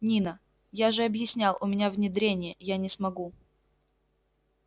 нина я же объяснял у меня внедрение я не смогу